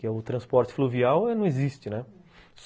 Que o transporte fluvial não existe, né?